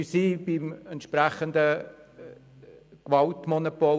Wir befinden uns im Bereich des staatlichen Gewaltmonopols.